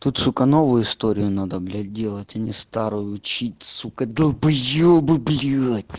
тут сука новую историю надо блядь делать а не старую учить сука долбоебы блять